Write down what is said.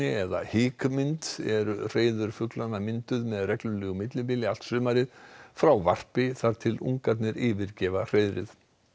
eða hikmynd eru hreiður fuglanna mynduð með reglulegu millibili allt sumarið frá varpi þar til ungarnir yfirgefa hreiðrið